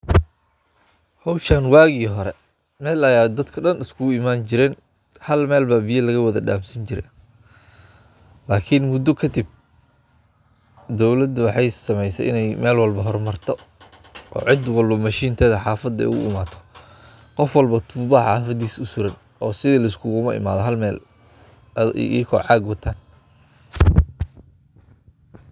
Hawshan waagii hore meel bay dadku dhan iskugu imaan jireen. Hal meel ayaa laga wada dansan jiray. Laakiin muddo ka dib, dowladda waxay samaysay in meel walba ay hormarto oo ciid walba makiinadeyda cidda ugu timaaddo. Qof walba tuubo ayaa ciddiisa u suran oo sidii layskugu imaan jiray hal meel ayagoo caag wataan.